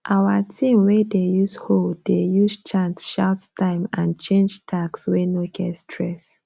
our team wey dey use hoe dey use chant shout time and change tasks wey no get stress